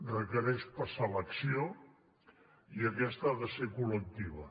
requereix passar a l’acció i aquesta ha de ser col·lectiva